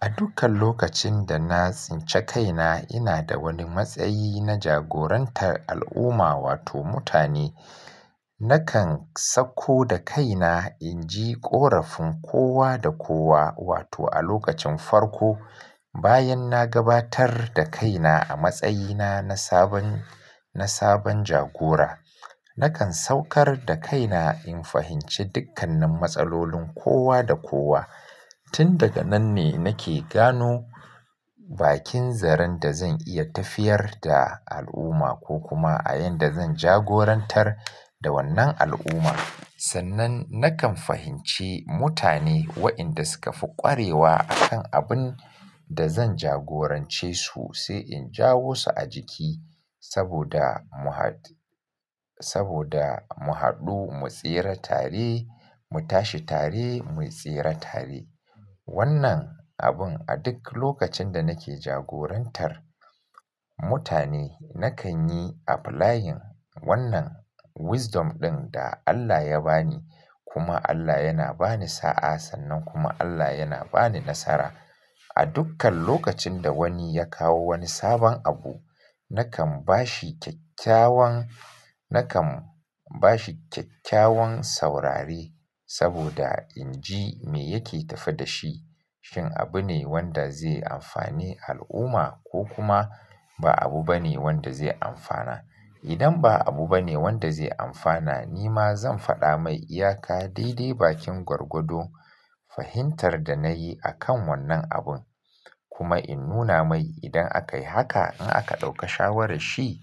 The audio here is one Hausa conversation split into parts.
A dukkan lokacin da na tsince kaina, ina da wani matsayi na jagorantar al'umma wato mutane. Nakan sakko da kaina inji ƙorafin kowa da kowa wato a lokacin farko bayan na gabatar da kaina a matsayina na sabon, na sabon jagora. Nakan saukar da kaina in fahimci dukkanin matsalolin kowa da kowa. Tun daga nan ne nake gano bakin zaren da zan iya tafiyar da al'umma ko kuma a yanda zan jagorantar da wannan al'umma. Sannan nakan fahimci mutane wayenda suka fi kwarewa a kan abun da zan jagorance su sai in jawo su a jiki saboda mu haɗ, saboda mu haɗu mu tsira tare, mu tashi tare, mu tsira tare. Wannan abun a duk lokacin da nake jagorantar mutane nakan yi applying wannan wisdom ɗin da Allah ya bani kuma Allah yana bani sa'a sannan kuma Allah yana bani nasara. A dukkan lokacin da wani ya kawo wani sabon abu, nakan bashi kyakkyawan, nakan bashi kyakkyawan saurare saboda inji me yake tafe da shi, shin abu ne wanda zai amfani al'umma ko kuma ba abu bane wanda zai amfana. Idan ba abu bane wanda zai amfana, nima zan faɗa mai iyaka daidai bakin gwargwado fahintar da na yi akan wannan abun. Kuma in nuna mai idan akai haka in aka ɗauka shawara shi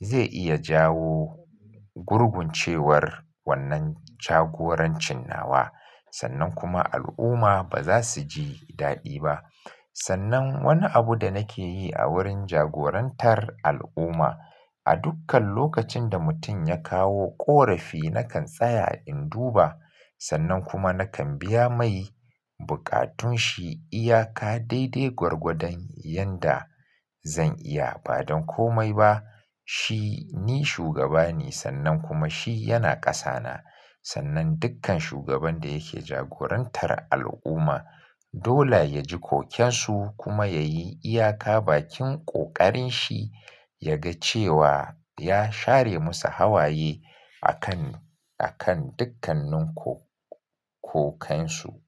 zai iya jawo gurguncewar wannan jagorancin nawa sannan kuma al'umma ba za su ji daɗi ba. Sannan wani abu da nake yi a wurin jagorantar al'umma a dukkan lokacin da mutum ya kawo ƙorafi nakan tsaya in duba sannan kuma nakan biya mai buƙatun shi iyaka daidai gwargwadon yanda zan iya. Ba don komai ba. Shi ni shugaba ne sannan kuma shi yana ƙasa na. Sannan dukkan shugaban da yake jagorantar al'umma dole ya ji kokensu kuma ya yi iyaka bakin ƙoƙarin shi ya ga cewa ya share musu hawaye a kan, a kan dukkanin ko, kokansu.